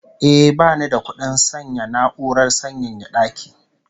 Eh, bani da kudin sayan na'urar sanyaya daki